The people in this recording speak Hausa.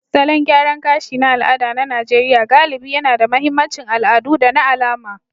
Salon gyaran gashi na al'ada na Najeriya galibi yAna da mahimmancin al'adu da na alama,